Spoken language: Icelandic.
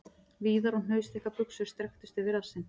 Víðar og hnausþykkar buxur strekktust yfir rassinn..